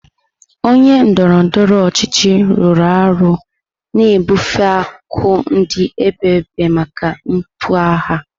Onye ndọrọ ndọrọ ọchịchị rụrụ arụ na-ebufe akụ ndị edebere maka mmepe ọha.